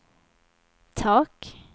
tak